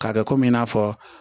K'a kɛ kɔmi i n'a fɔ